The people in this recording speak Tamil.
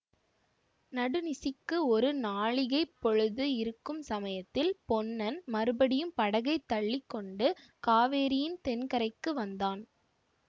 நடுநிசிக்கு ஒரு நாழிகைப் பொழுது இருக்கும் சமயத்தில் பொன்னன் மறுபடியும் படகைத் தள்ளி கொண்டு காவேரியின் தென்கரைக்கு வந்தான்